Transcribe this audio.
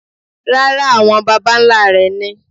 Rárá, àwọn baba nlá rẹ̀ ni.